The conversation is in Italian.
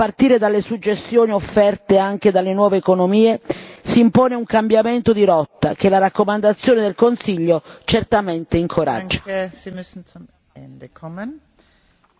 Dentro una visione non onirica dello sviluppo, a partire dalle suggestioni offerte anche dalle nuove economie, si impone un cambiamento di rotta che la raccomandazione del Consiglio certamente incoraggia.